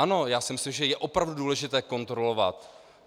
Ano, já si myslím, že je opravdu důležité kontrolovat.